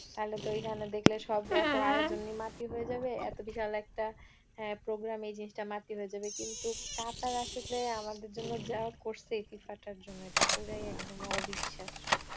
তাহলে তো এইখানে দেখলে সব এতো আয়োজনই মাটি হয়ে যাবে, এতো বিশাল একটা হ্যাঁ program এই জিনিসটা মাটি হয়ে যাবে কিন্তু কাতার আসলে আমাদের জন্য যা করছে এই FIFA টার জন্য এটা পুরোই একদম অবিশ্বাসও